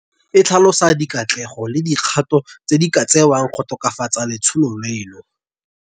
E tlhalosa dikatlego le dikgato tse di ka tsewang go tokafatsa letsholo leno.